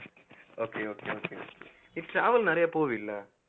okay okay okay நீ travel நிறைய போவில